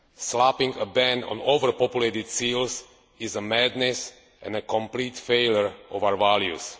Slapping a ban on overpopulated seals is madness and a complete failure of our values.